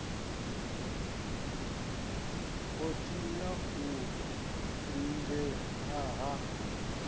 o tinya u lingea ha